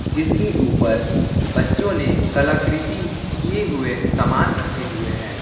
जिसके ऊपर बच्चों ने कलाकृति किए हुए सामान रखे हुए हैं।